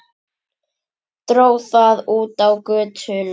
Dró það út á götuna.